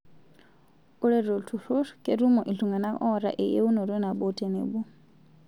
Ore to lturrur, ketumo ltung'ana oota eyieunoto nabo tenebo